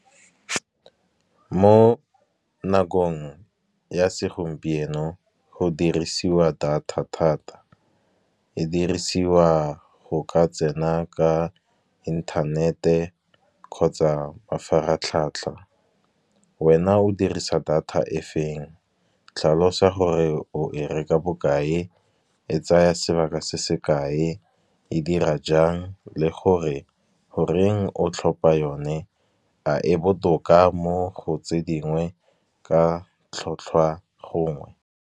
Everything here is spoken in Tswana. Mo nakong ya segompieno go dirisiwa data thata, e dirisiwa go ka tsena ka inthanete kgotsa mafaratlhatlha. Wena o dirisa data e feng tlhalosa gore o e reka bokae, e tsaya sebaka se se kae, e dira jang le gore goreng o tlhopha yone. A e botoka mo go tse dingwe ka tlhotlhwa gongwe.